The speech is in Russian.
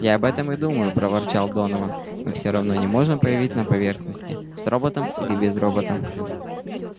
я об этом и думаю проворчал донован мы всё равно не можем появиться на поверхности с роботом или без робота